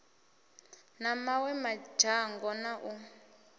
na mawe madzhango na u